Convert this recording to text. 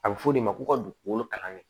A bɛ fɔ o de ma ko ka dugukolo kalan kɛ